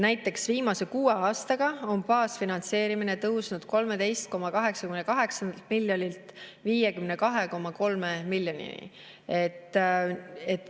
Näiteks viimase kuue aastaga on baasfinantseerimine tõusnud 13,88 miljonilt 52,3 miljonini.